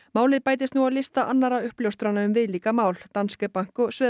málið bætist nú á lista annarra uppljóstrana um viðlíka mál Danske Bank og